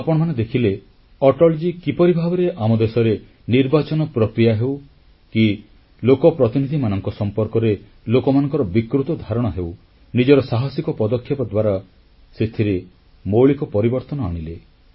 ଆପଣମାନେ ଦେଖିଲେ ଅଟଲଜୀ କିପରି ଭାବରେ ଆମ ଦେଶରେ ନିର୍ବାଚନ ପ୍ରକ୍ରିୟା ହେଉ କି ଲୋକପ୍ରତିନିଧିମାନଙ୍କ ସମ୍ପର୍କରେ ଲୋକମାନଙ୍କର ବିକୃତ ଧାରଣା ହେଉ ନିଜର ସାହସିକ ପଦକ୍ଷେପ ଦ୍ୱାରା ସେଥିରେ ମୌଳିକ ପରିବର୍ତ୍ତନ ଆଣିଲେ